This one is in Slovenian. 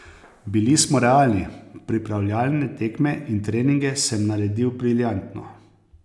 Bili smo realni, pripravljalne tekme in treninge sem naredil briljantno.